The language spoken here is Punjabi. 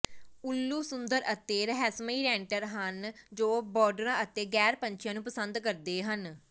ਉੱਲੂ ਸੁੰਦਰ ਅਤੇ ਰਹੱਸਮਈ ਰੈਂਟਰ ਹਨ ਜੋ ਬਰਡਰਾਂ ਅਤੇ ਗ਼ੈਰ ਪੰਛੀਆਂ ਨੂੰ ਪਸੰਦ ਕਰਦੇ ਹਨ